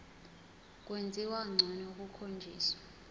kwenziwa ngcono kukhonjiswa